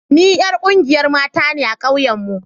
Ni yar ƙungiyar mata ne a ƙauyen mu